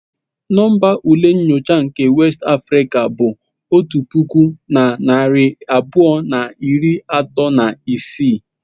Nọmba ule nyocha nke West African bụ otu puku na narị abụọ na iri atọ na isii.